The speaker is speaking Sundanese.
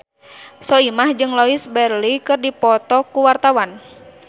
Soimah jeung Louise Brealey keur dipoto ku wartawan